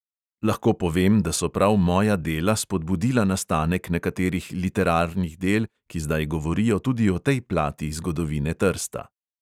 Lahko povem, da so prav moja dela spodbudila nastanek nekaterih literarnih del, ki zdaj govorijo tudi o tej plati zgodovine trsta.